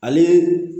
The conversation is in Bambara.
Ale